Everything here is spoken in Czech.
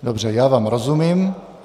Dobře, já vám rozumím.